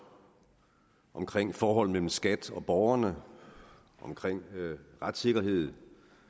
omkring forholdet mellem skat og borgerne omkring retssikkerhed